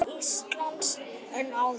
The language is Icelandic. Háskóla Íslands en áður.